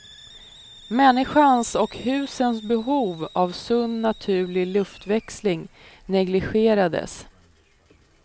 Människans och husens behov av sund naturlig luftväxling negligerades.